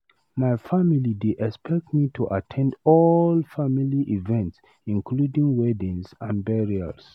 My family dey expect me to at ten d all family events, including weddings and burials.